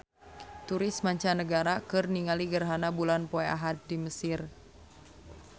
Turis mancanagara keur ningali gerhana bulan poe Ahad di Mesir